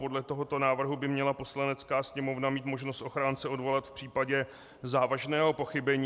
Podle tohoto návrhu by měla Poslanecká sněmovna mít možnost ochránce odvolat v případě závažného pochybení.